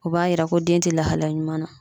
O b'a yira ko den tɛ lahalaya ɲuman na.